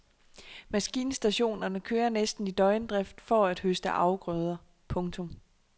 Maskinstationerne kører næsten i døgndrift for at høste afgrøder. punktum